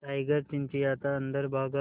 tiger चिंचिंयाता अंदर भागा